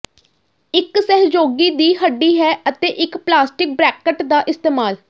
ਇੱਕ ਸਹਿਯੋਗੀ ਦੀ ਹੱਡੀ ਹੈ ਅਤੇ ਇੱਕ ਪਲਾਸਟਿਕ ਬਰੈਕਟ ਦਾ ਇਸਤੇਮਾਲ